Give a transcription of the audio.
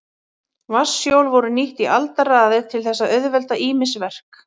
Vatnshjól voru nýtt í aldaraðir til þess að auðvelda ýmis verk.